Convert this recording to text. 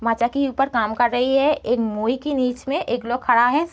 माचा के ऊपर काम कर रही है एक मोई के नीच मे एक लोग खड़ा है।